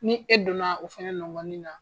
Ni e donna o fɛnɛ nɔgɔnin na